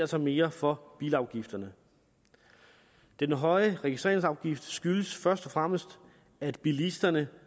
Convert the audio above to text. sig mere for bilafgifterne den høje registreringsafgift skyldes først og fremmest at bilisterne